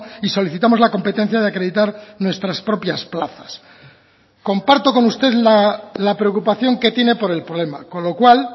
y solicitamos la competencia de acreditar nuestras propias plazas comparto con usted la preocupación que tiene por el problema con lo cual